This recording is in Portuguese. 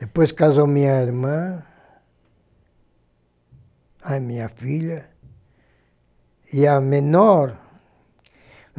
Depois casou minha irmã, a minha filha e a menor.